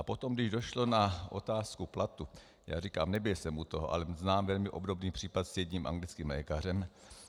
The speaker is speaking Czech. A potom, když došlo na otázku platu - jak říkám, nebyl jsem u toho, ale znám velmi obdobný případ s jedním anglickým lékařem.